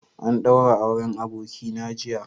An ɗaura auren Abokina jiya.